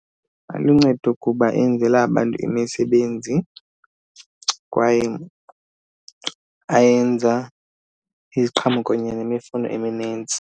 Aluncedo kuba enzela abantu imisebenzi kwaye ayenza iziqhamo kunye nemifuno eminintsi.